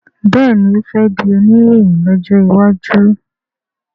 béèni o fè dì Oníròhìn lójó waju.